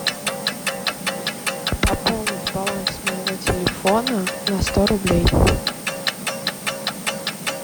пополнить баланс моего телефона на сто рублей